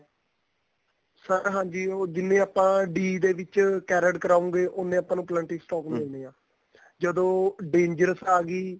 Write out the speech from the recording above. sir ਹਾਂਜੀ ਉਹ ਜਿਵੇਂ ਆਪਾਂ D ਦੇ ਵਿਚ carried ਕਰਾਉਗੇ ਉਨੇ ਆਪਾਂ ਨੂੰ twenty stock ਮਿਲਦੇ ਆ ਜਦੋਂ dangerous ਆ ਗੀ